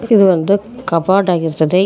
ಇದು ಒಂದು ಕಪಾರ್ಟ್ ಆಗಿರ್ತದೆ ಇದ್--